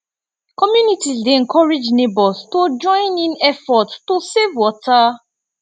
communities dey encourage neighbors to join in efforts to save water